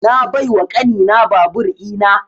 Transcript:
Na bai wa ƙani na babur ina